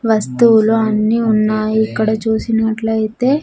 వస్తువులు అన్నీ ఉన్నాయి ఇక్కడ చూసినట్లయితే.